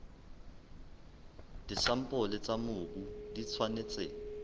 disampole tsa mobu di tshwanetse